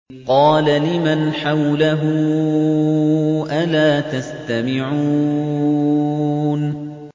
قَالَ لِمَنْ حَوْلَهُ أَلَا تَسْتَمِعُونَ